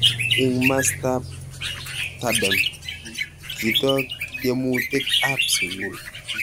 Ing mastap tadem, kitok tiemutik ap sugul.